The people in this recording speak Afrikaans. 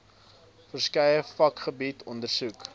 verskeie vakgebiede ondersoek